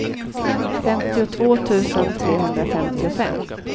femtiotvå tusen trehundrafemtiofem